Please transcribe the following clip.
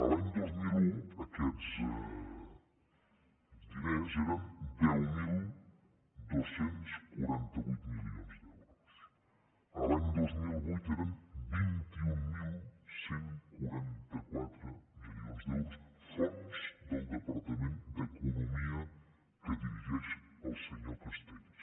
l’any dos mil un aquests diners eren deu mil dos cents i quaranta vuit milions d’euros l’any dos mil vuit eren vint mil cent i quaranta quatre milions d’euros fonts del departament d’economia que dirigeix el senyor castells